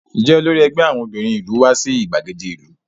Ǹjẹ́ olórí ẹgbẹ́ àwọn obìnrin ìlú wá sí ìgbàgede ìlú?